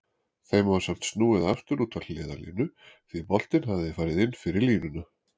Þeim var samt snúið aftur út á hliðarlínu því boltinn hafði farið inn fyrir línuna.